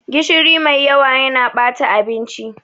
Gishiri mai yawa yana bata abinci.